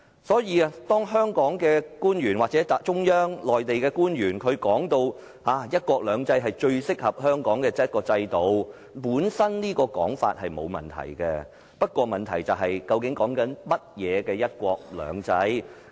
所以，當香港的官員或內地中央官員說"一國兩制"是最適合香港的制度，這種說法本身沒有問題，但問題是說的是甚麼樣的"一國兩制"。